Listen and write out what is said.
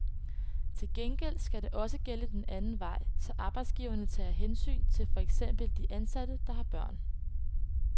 Til gengæld skal det også gælde den anden vej, så arbejdsgiverne tager hensyn til for eksempel de ansatte, der har børn.